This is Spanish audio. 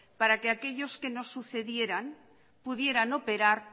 para que aquellos que nos sucedieran pudieran operar